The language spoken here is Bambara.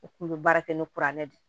U kun bɛ baara kɛ ni kuranɛ de ye